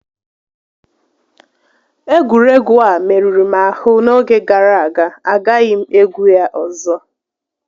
Egwuregwu a merụrụ m ahụ n'oge gàrà aga, agaghị m egwu a ọzọ